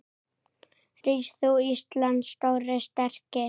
Rís þú, Íslands stóri, sterki